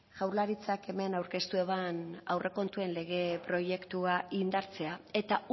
jaurlaritzak hemen aurkeztu eban aurrekontuen lege proiektua indartzea eta